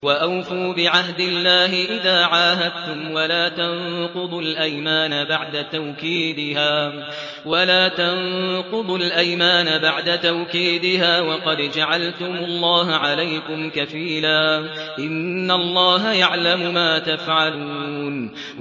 وَأَوْفُوا بِعَهْدِ اللَّهِ إِذَا عَاهَدتُّمْ وَلَا تَنقُضُوا الْأَيْمَانَ بَعْدَ تَوْكِيدِهَا وَقَدْ جَعَلْتُمُ اللَّهَ عَلَيْكُمْ كَفِيلًا ۚ إِنَّ اللَّهَ يَعْلَمُ مَا تَفْعَلُونَ